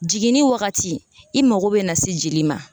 Jiginni wagati i mago bɛ na se joli ma